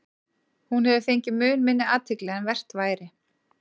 Hún hefur fengið mun minni athygli en vert væri.